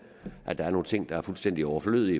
er der er nogle ting der er fuldstændig overflødige